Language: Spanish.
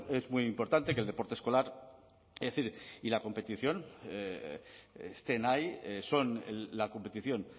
es muy importante que el deporte escolar es decir y la competición estén ahí son la competición